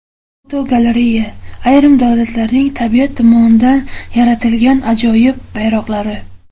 Fotogalereya: Ayrim davlatlarning tabiat tomonidan yaratilgan ajoyib bayroqlari.